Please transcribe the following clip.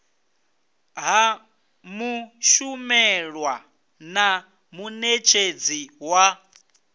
ha mushumelwa na munetshedzi wa